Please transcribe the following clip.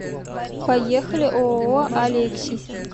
поехали ооо алексий